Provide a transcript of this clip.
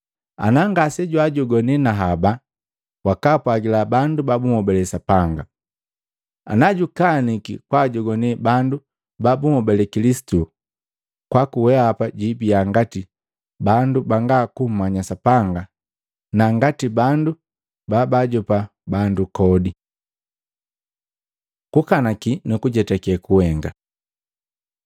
Ana ngasejwajogwani na haba, wakaapwagila bandu babunhobale Sapanga. Ana jukaniki kwaajoane bandu babunhobale Kilisitu kwaku weapa jiibiya ngati bandu banga kummanya Sapanga na ngati bandu babaajopa bandu kodi.” Kukanaki nukujetake kuhenga